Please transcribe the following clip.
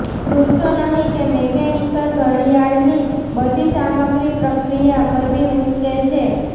ભૂલશો નહીં કે મિકેનિકલ ઘડિયાળની બધી સામગ્રી પ્રક્રિયા કરવી મુશ્કેલ છે